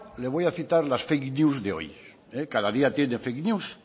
le voy a citar las fake news de hoy cada día tiene fake news